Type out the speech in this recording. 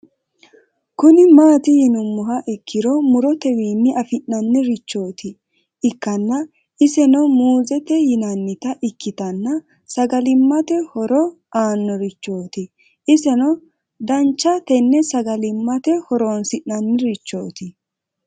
Kuni mati yinumoha ikiro murotewin afina'ni richot ikana isena muuzete yinanita ikitana sagalimate horo aanorichot iseno dancha tenna sagalimate horonsinanirichot